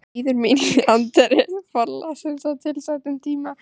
Bíður mín í anddyri forlagsins á tilsettum tíma.